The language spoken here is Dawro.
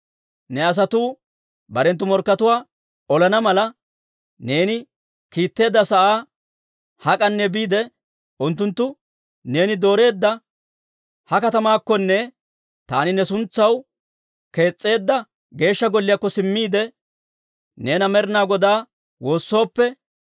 «Ne asatuu barenttu morkkatuwaa olana mala neeni kiitteedda sa'aa hak'anne biide, unttunttu neeni dooreedda ha katamaakkonne taani ne suntsaw kees's'eedda Geeshsha Golliyaakko simmiide, neena Med'inaa Godaa woossooppe,